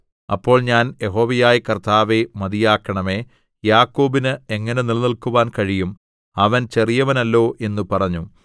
അപ്പോൾ ഞാൻ യഹോവയായ കർത്താവേ മതിയാക്കണമേ യാക്കോബിന് എങ്ങനെ നിലനിൽക്കാൻ കഴിയും അവൻ ചെറിയവനല്ലോ എന്ന് പറഞ്ഞു